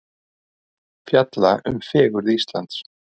Fjalla um fegurð Íslands